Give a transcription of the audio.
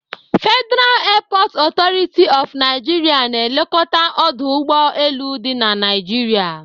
Federal Airport Authority of Naijiria na-elekọta ọdụ ụgbọ elu dị na Naijiria.